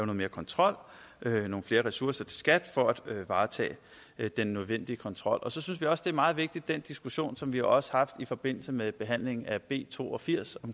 mere kontrol nogle flere ressourcer til skat for at varetage den nødvendige kontrol så synes vi også det er meget vigtigt med den diskussion som vi jo også har haft i forbindelse med behandlingen af b to og firs